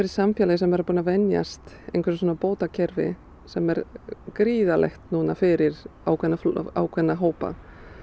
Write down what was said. samfélag sem er búið að venjast einhverju svona bótakerfi sem er gríðarlegt fyrir ákveðna ákveðna hópa